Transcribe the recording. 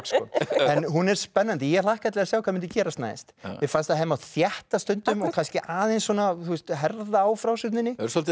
en hún er spennandi ég hlakkaði til að sjá hvað myndi gerast næst mér fannst að hefði mátt þétta stundum og kannski aðeins svona herða á frásögninni svolítið